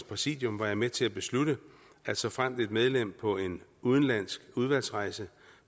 præsidium var jeg med til at beslutte at såfremt et medlem på en udenlandsk udvalgsrejse